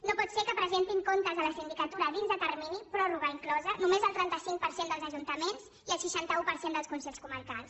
no pot ser que presentin comptes a la sindicatura dins de termini pròrroga inclosa només el trenta cinc per cent dels ajuntaments i el seixanta un per cent dels consells comarcals